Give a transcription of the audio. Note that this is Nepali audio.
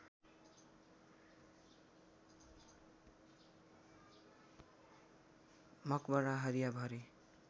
मकबरा हरिया भरे